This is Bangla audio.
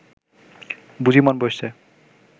বুঝি মন বসছে